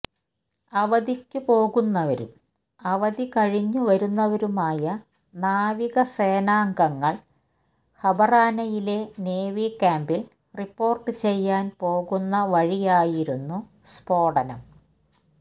അവധിക്കു പോകുന്നവരും അവധി കഴിഞ്ഞു വരുന്നവരുമായ നാവിക സേനാംഗങ്ങള് ഹബറാനയിലെ നേവി ക്യാമ്പില് റിപ്പോര്ട്ട് ചെയ്യാന് പോകുന്ന വഴിയായിരുന്നു സ്ഫോടനം